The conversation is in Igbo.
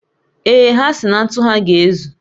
Ee, ha si na ntu ha ga-ezu